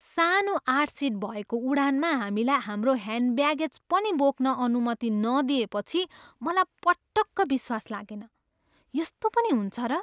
सानो आठ सिट भएको उडानमा हामीलाई हाम्रो ह्यान्ड ब्यागेज पनि बोक्न अनुमति नदिएपछि मलाई पटक्क विश्वास लागेन। यस्तो पनि हुन्छ र?